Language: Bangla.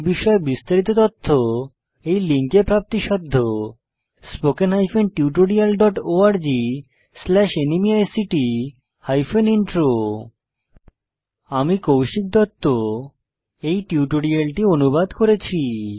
এই বিষয়ে বিস্তারিত তথ্য এই লিঙ্কে প্রাপ্তিসাধ্য spoken hyphen tutorial dot org slash NMEICT hyphen intro আমি কৌশিক দত্ত এই টিউটোরিয়ালটি অনুবাদ করেছি